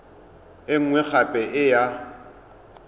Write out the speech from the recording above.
e nngwe gape e ya